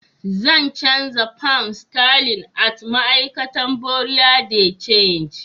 Zan chanza pounds sterling at ma'aikata Buerea de change.